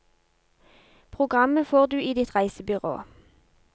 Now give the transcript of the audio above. Programmet får du i ditt reisebyrå.